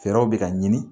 Fɛɛrɛw bɛ ka ɲini